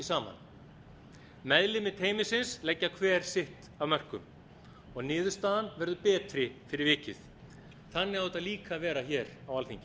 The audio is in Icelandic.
saman meðlimir teymisins leggja hver sitt af mörkum og niðurstaðan verður betri fyrir vikið þannig á þetta líka að vera hér á